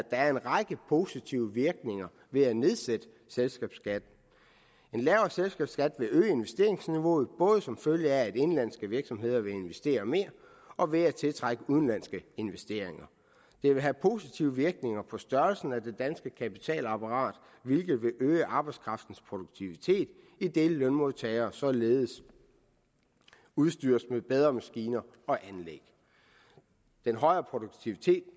er en række positive virkninger ved at nedsætte selskabsskatten en lavere selskabsskat vil øge investeringsniveauet både som følge af at indenlandske virksomheder vil investere mere og ved at tiltrække udenlandske investeringer det vil have positive virkninger på størrelsen af det danske kapitalapparat hvilket vil øge arbejdskraftens produktivitet idet lønmodtagere således udstyres med bedre maskiner og anlæg den højere produktivitet